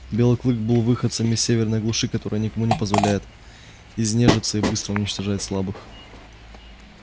белый клык был выходцем из северной глуши которая никому не позволяет изнежиться и быстро уничтожает слабых